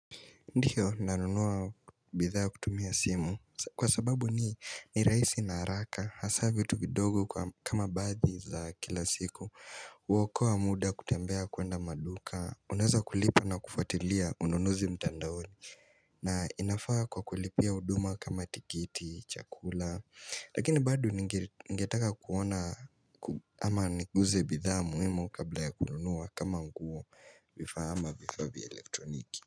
Ndiyo nanunua bidhaa kutumia simu kwa sababu ni rahisi na haraka hasa vitu vidogo kama baadhi za kila siku uokowa muda kutembea kuenda maduka, unaeza kulipa na kufuatilia ununuzi mtandaoni na inafaa kwa kulipia huduma kama tikiti, chakula lakini bado ningetaka kuona ama niguze bidhaa muhimu kabla ya kununua kama nguo ama vifaa vya elektroniki.